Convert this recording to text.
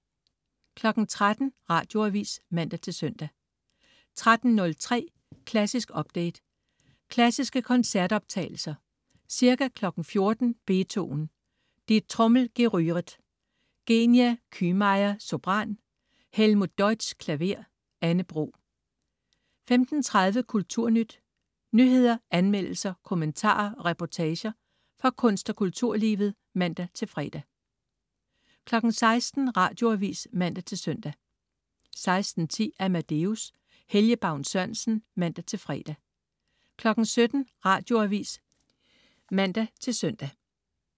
13.00 Radioavis (man-søn) 13.03 Klassisk update. Klassiske koncertoptagelser. Ca. 14.00 Beethoven: Die Trommel gerühret. Genia Kühmeier, sopran. Helmut Deutsch, klaver. Anne Bro 15.30 Kulturnyt. Nyheder, anmeldelser, kommentarer og reportager fra kunst- og kulturlivet (man-fre) 16.00 Radioavis (man-søn) 16.10 Amadeus. Helge Baun Sørensen (man-fre) 17.00 Radioavis (man-søn)